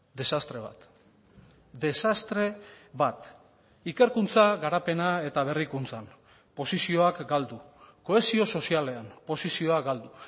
desastre bat desastre bat ikerkuntza garapena eta berrikuntzan posizioak galdu kohesio sozialean posizioa galdu